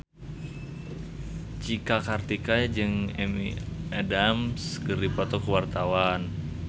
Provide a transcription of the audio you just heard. Cika Kartika jeung Amy Adams keur dipoto ku wartawan